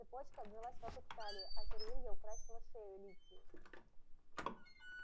цепочка обвилась вокруг талии ожерелье украсило шею ликии